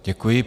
Děkuji.